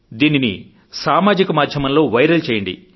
దీనిని సామాజిక మాధ్యమంలో వైరల్ చేయండి